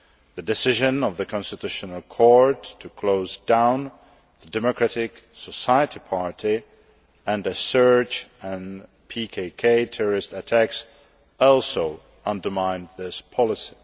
The decision of the constitutional court to close down the Democratic Society Party and a surge in PKK terrorist attacks also undermined this policy.